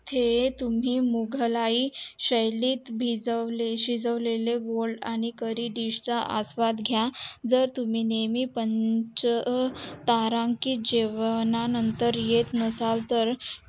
हे तुम्ही मुघलाई शयलीत शिजवलेल्या grilled आणि करी dish चा स्वाद घायल तुम्ही नेहमी पंच तारांकित जेवणा जेवणानंतर येत नसाल तर